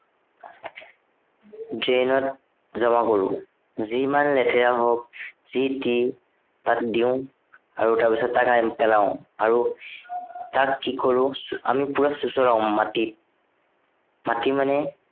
drain ত, জমা কৰো। যিমান লেতেৰা হওক, যি টি, তাত দিও। আৰু তাৰপিছত তাক আনি পেলাও। আৰু, তাক কি কৰো আমি পোৰা চুচৰাও মাটিত। মাটি মানে